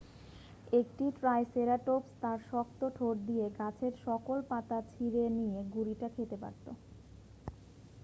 একটি ট্রাইসেরাটপস তার শক্ত ঠোঁট দিয়ে গাছের সকল পাতা ছিঁড়ে নিয়ে গুড়িটা খেতে পারত